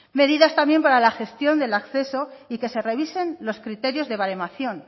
medidas también para la gestión del acceso y que se revisen los criterios de baremación